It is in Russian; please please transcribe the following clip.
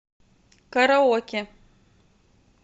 караоке